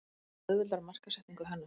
Það auðveldar markaðssetningu hennar.